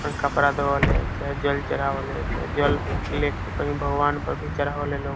ऊपर कपड़ा धोवाले चाहे जल चढ़ावा ले चाहे जल लेके कही भगवान के भी चढ़ावेला लोग।